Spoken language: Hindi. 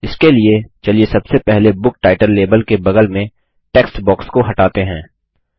इसके लिए चलिए सबसे पहले बुक टाइटल लाबेल के बगल में टेक्स्ट बॉक्स को हटाते हैं